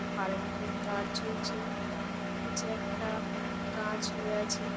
Current এর তার ঝুলছে। নীচে একটা গাছ হয়ে আছে ।